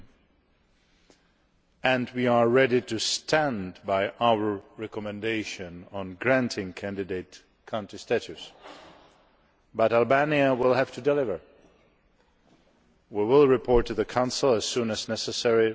European Union. We are ready to stand by our recommendation on granting candidate country status, but Albania will have to deliver. We will report to the Council as soon as necessary.